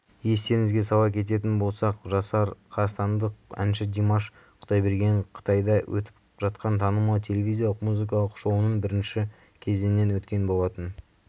естеріңізге сала кететін болсақ жасар қазақстандық әнші димаш құдайбергенқытайда өтіп жатқан танымал телевизиялық музыкалық шоуының бірінші кезеңінен өткен болатын